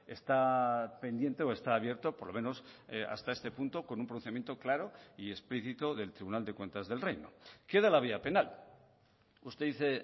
está pendiente o está abierto por lo menos hasta este punto con un procedimiento claro y explícito del tribunal de cuentas del reino queda la vía penal usted dice